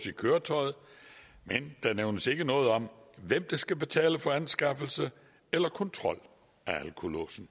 i køretøjet men der nævnes ikke noget om hvem der skal betale for anskaffelse eller kontrol af alkolåsen